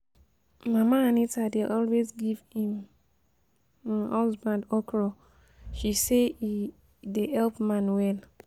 Mama Anita dey always give im um husband okra, she say e um dey help man well